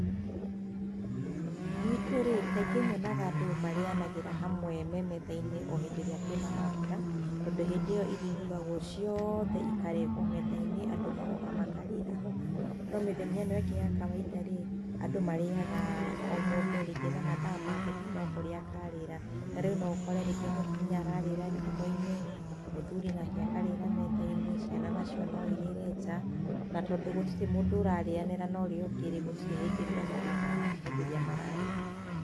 Guitũ-rĩ, kaingĩ nyonaga andũ marĩanagĩra hamwe me metha-inĩ o hĩndĩ ĩrĩa kwĩna maambũra, tondũ hĩndĩ ĩyo irio irugagwo ciothe ikarehwo metha-inĩ, andũ magoka makarĩra hamwe. No mĩthenya ĩno ĩngĩ ya kawainda-rĩ, andũ marĩaga o mũndũ rĩngĩ na mathaa make kana oharĩa mũndũ akarĩra. Tarĩũ no ũkore mũtumia ararĩra riko-inĩ, mũthũri nake akarĩra metha-inĩ, ciana nacio no cirĩre nja. Na tondũ gũtirĩ mũndũ ararĩanĩra na ũrĩa ũngĩ, gũtirĩ hĩndĩ monanaga rĩrĩa mararĩa.